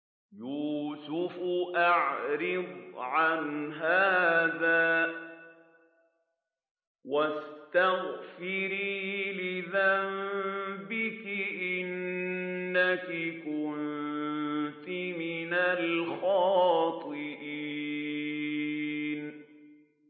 يُوسُفُ أَعْرِضْ عَنْ هَٰذَا ۚ وَاسْتَغْفِرِي لِذَنبِكِ ۖ إِنَّكِ كُنتِ مِنَ الْخَاطِئِينَ